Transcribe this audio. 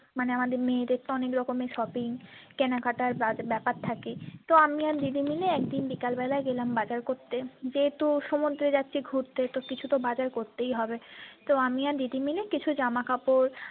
মানে আমাদের মেয়েদের তো অনেক রকমের shopping কেনাকাটার ব্যাপার থাকে তো আমি আর দিদি মিলে একদিন বিকাল বেলায় গেলাম বাজার করতে যেহেতু সমুদ্রে যাচ্ছি ঘুরতে তো কিছু তো বাজার করতেই হবে তো আমি আর দিদি মিলে কিছু জামাকাপড়।